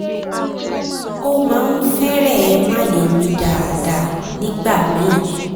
ó máa ń fẹ́rẹ̀ẹ́ má lè mí dáadáa nígbà míì